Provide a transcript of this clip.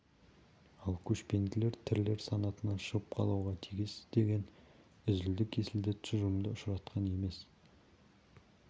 ал көшпенділер тірілер санатынан шығып қалуға тиіс деген үзілді-кесілді тұжырымды ұшыратқан емес